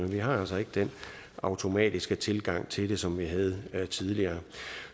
vi har altså ikke den automatiske tilgang til det som vi havde tidligere